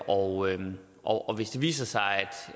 og og hvis det viser sig